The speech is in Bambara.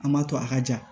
An m'a to a ka ja